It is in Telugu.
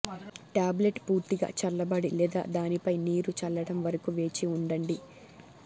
టాబ్లెట్ పూర్తిగా చల్లబడి లేదా దానిపై నీరు చల్లడం వరకు వేచి ఉండండి